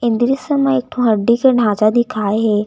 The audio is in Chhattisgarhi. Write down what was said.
ये दृश्य म एकठो हड्डी के ढांचा दिखाये हे।